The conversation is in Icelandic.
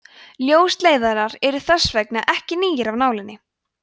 ljósleiðarar eru þess vegna ekki nýir af nálinni